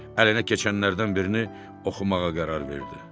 Əlinə keçənlərdən birini oxumağa qərar verdi.